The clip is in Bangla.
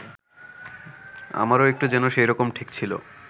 আমারও একটু যেন সেইরকম ঠেকছিল